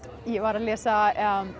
ég var að lesa